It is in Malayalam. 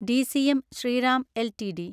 DCM Shriram LTD